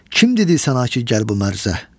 Kim dedi sənə ki gəl bu mərzə?"